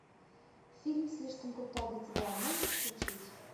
фильм слишком крута для тебя можешь включить